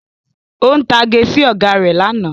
Ó ń tage sí Ọ̀gá rẹ̀ lánàá